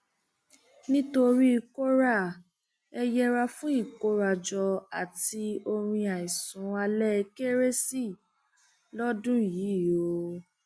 nítorí kóra ẹ yẹra fún ìkórajọ àti orin àìsùn alẹ kérésì lọdún yìí o